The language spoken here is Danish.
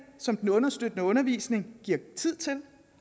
som den understøttende undervisning giver tid til